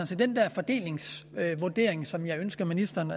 set den der fordelingsvurdering som jeg ønsker ministeren